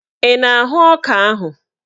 Ị na-ahụ ọka ahụ?